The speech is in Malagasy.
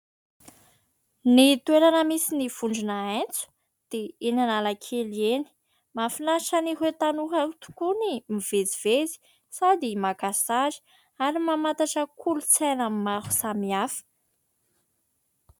Ny toerana misy ny vondrona H dia eny Analakely eny. Mahafinaritra an'ireo tanora tokoa ny mivezivezy sady maka sazy ary mamantatra kolontsaina maro samihafa.